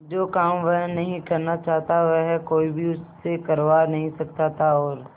जो काम वह नहीं करना चाहता वह कोई भी उससे करवा नहीं सकता था और